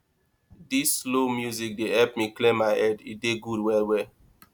dis slow music dey help me clear my head e dey good wellwell